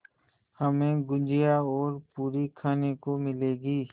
हमें गुझिया और पूरी खाने को मिलेंगी